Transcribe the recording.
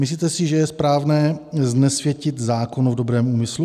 Myslíte si, že je správné znesvětit zákon v dobrém úmyslu?